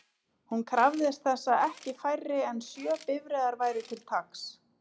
Hún krafðist þess að ekki færri en sjö bifreiðar væru til taks.